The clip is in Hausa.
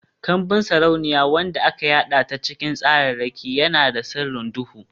Kambin sarauniya wanda aka yada ta cikin tsararraki, yana da sirrin duhu.